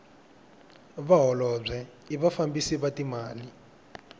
vaholobye i vafambisi va timali